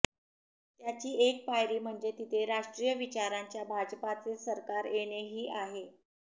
त्याची एक पायरी म्हणजे तिथे राष्ट्रीय विचाराच्या भाजपाचे सरकार येणे ही आहे